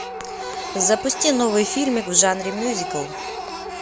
запусти новый фильмик в жанре мюзикл